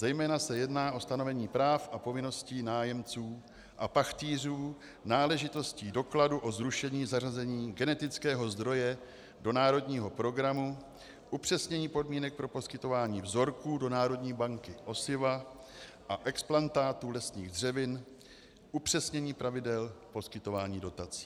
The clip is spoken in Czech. Zejména se jedná o stanovení práv a povinností nájemců a pachtýřů, náležitostí dokladů o zrušení zařazení genetického zdroje do národního programu, upřesnění podmínek pro poskytování vzorků do Národní banky osiva a explantátů lesních dřevin, upřesnění pravidel poskytování dotací.